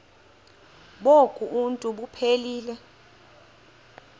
bonk uuntu buphelele